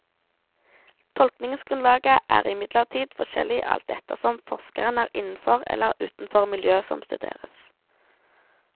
Tolkningsgrunnlaget er imidlertid forskjellig alt ettersom forskeren er innenfor eller utenfor miljøet som studeres.